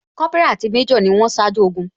Kópírà àti major ni wón ṣáájú ogun